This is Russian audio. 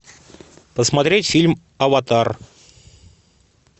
посмотреть фильм аватар